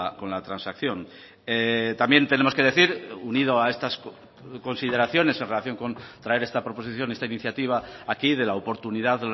con la transacción también tenemos que decir unido a estas consideraciones en relación con traer esta proposición esta iniciativa aquí de la oportunidad